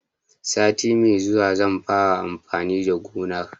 Sati mai zuwa zan fara amfani da gonar.